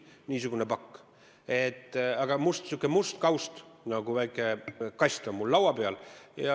Niisugune pakk, sihuke must kaust nagu väike kast on mul laua peal.